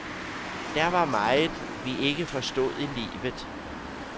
Der var meget, vi ikke forstod i livet.